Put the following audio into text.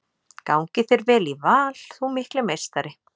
Gangi þér vel í Val þú mikli meistari!